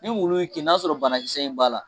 Ni wulu y'i kin na y'a sɔrɔ banakisɛ in b'a la.